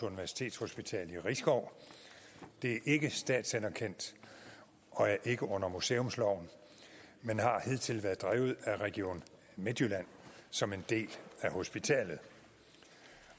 universitetshospital i risskov det er ikke statsanerkendt og er ikke under museumsloven men har hidtil været drevet af region midtjylland som en del af hospitalet